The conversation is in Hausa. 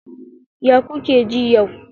Ya kuke ji yau?